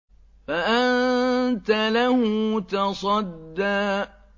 فَأَنتَ لَهُ تَصَدَّىٰ